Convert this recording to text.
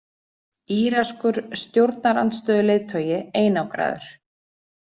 Íranskur stjórnarandstöðuleiðtogi einangraður